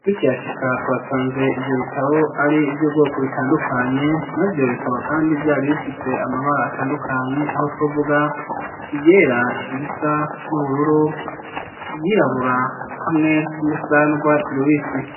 Tukishika twasanze ivyo bitabo ari ivy'ubwoko bitandukanye navyo bikaba kandi vyari bifise amabara atandukanye aho twovuga iryera risa n'ubururu iryirabura hamwe n'isa n'urwatsi rubisi.